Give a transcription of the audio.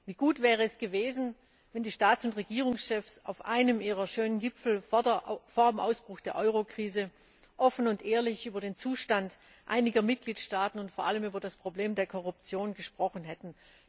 Wie gut wäre es gewesen, wenn die Staats und Regierungschefs auf einem ihrer schönen Gipfel vor dem Ausbruch der Eurokrise offen und ehrlich über den Zustand einiger Mitgliedstaaten und vor allem über das Problem der Korruption gesprochen hätten!